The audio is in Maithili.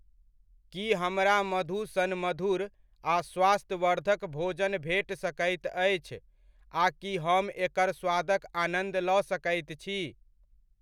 की हमरा मधु सन मधुर आ स्वास्थ्यवर्धक भोजन भेट सकैत अछि आ की हम एकर स्वादक आनन्द लऽ सकैत छी ?